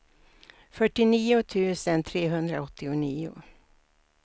fyrtionio tusen trehundraåttionio